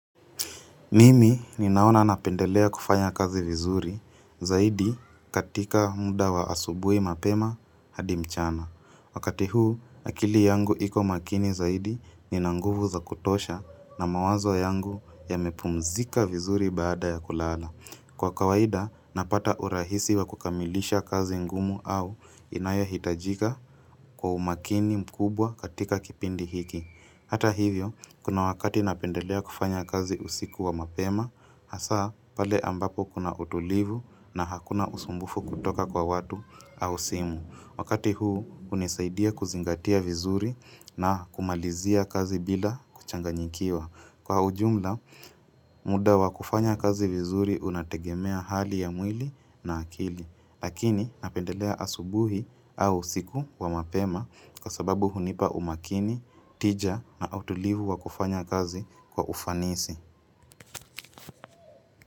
Mimi ninaona napendelea kufanya kazi vizuri zaidi katika muda wa asubuhi mapema hadi mchana. Wakati huu akili yangu iko makini zaidi nina nguvu za kutosha na mawazo yangu yamepumzika vizuri baada ya kulala. Kwa kawaida napata urahisi wa kukamilisha kazi ngumu au inayohitajika kwa umakini mkubwa katika kipindi hiki. Hata hivyo, kuna wakati napendelea kufanya kazi usiku wa mapema, hasa pale ambapo kuna utulivu na hakuna usumbufu kutoka kwa watu au simu. Wakati huu, hunisaidia kuzingatia vizuri na kumalizia kazi bila kuchanganyikiwa. Kwa ujumla, muda wa kufanya kazi vizuri unategemea hali ya mwili na akili. Lakini napendelea asubuhi au usiku wa mapema kwa sababu hunipa umakini, tija na utulivu wa kufanya kazi kwa ufanisi.